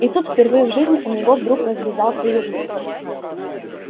и тут впервые в жизни у него вдруг развязался язык